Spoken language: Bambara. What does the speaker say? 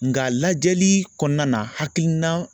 Nga lajɛli kɔnɔna na hakilina